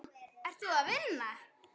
Ert þú að vinna?